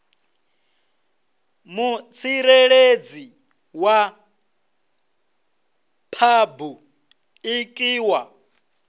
mutsireledzi wa phabu iki wa